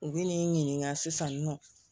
U bɛ n'i ɲininka sisan nin nɔ